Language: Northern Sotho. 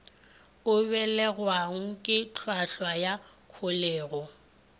abelanwago ke hlwahlwa ya kholego